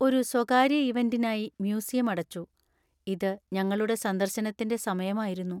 ഒരു സ്വകാര്യ ഇവന്‍റിനായി മ്യൂസിയം അടച്ചു, ഇത് ഞങ്ങളുടെ സന്ദർശനത്തിന്‍റെ സമയമായിരുന്നു.